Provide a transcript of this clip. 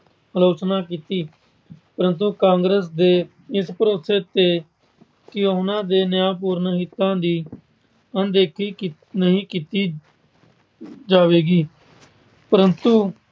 ਆਲੋਚਨਾ ਕੀਤੀ ਪਰੰਤੂ ਕਾਂਗਰਸ ਦੇ ਇਸ ਭਰੋਸੇ ਤੇ ਕਿ ਉਹਨਾਂ ਦੇ ਨਿਆਂਪੂਰਨ ਹਿੱਤਾ ਦੀ ਅਣਦੇਖੀ ਨਹੀਂ ਕੀਤੀ ਜਾਵੇਗੀ ਪਰੰਤੂ